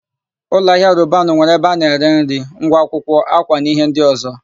Ụlọahịa Robanu nwere ebe a na-ere íhé nri, ngwa akwụkwọ, ákwà na íhé ndị ọ̀zọ́.